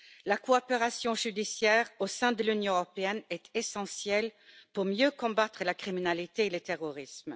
La coopération judiciaire au sein de l'Union européenne est essentielle pour mieux combattre la criminalité et le terrorisme.